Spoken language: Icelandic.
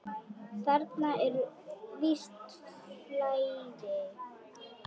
Þarna er visst flæði.